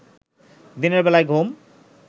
দিনের বেলায় ঘুম